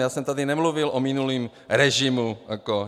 Já jsem tady nemluvil o minulém režimu.